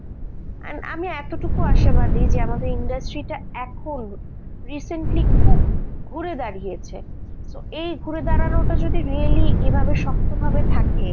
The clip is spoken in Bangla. and আমি এতটুকু আশাবাদী যে industry তে এখন recently খুব ঘুরে দাঁড়িয়েছে, এই ঘুরে দাঁড়ানোটা যদি এইভাবে শক্তভাবে থাকে,